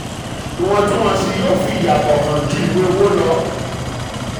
iwọntún-wọnsì yóò fi um ìyàtọ̀ hàn ju ìwé owó lọ.